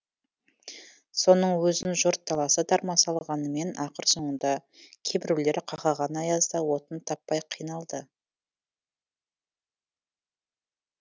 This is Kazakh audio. соның өзін жұрт таласа тармаса алғанымен ақыр соңында кейбіреулер қақаған аязда отын таппай қиналды